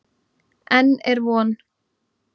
Enn er von.